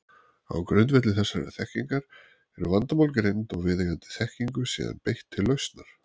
Á grundvelli þessarar þekkingar eru vandamál greind og viðeigandi þekkingu síðan beitt til lausnar.